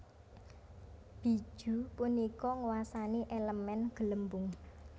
Bijuu punika nguwasani elemen Gelembung